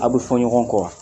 Aw bɛ fɔ ɲɔgɔn kɔ wa